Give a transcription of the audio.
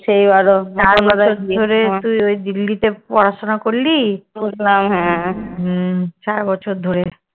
সেই বারও তুই ওই দিল্লিতে পড়াশোনা করলি সারাবছর ধরে।